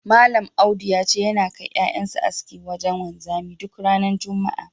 Malam Audu ya ce, yana kai ƴaƴan sa aski wajen wanzami duk ranar juma'a.